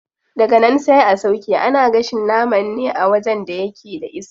Daganan sai a sauƙe, ana gashin nama ne a wajen da yake da iska.